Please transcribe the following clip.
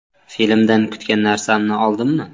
Filmdan kutgan narsamni oldimmi?